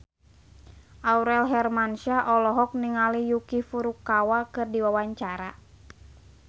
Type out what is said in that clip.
Aurel Hermansyah olohok ningali Yuki Furukawa keur diwawancara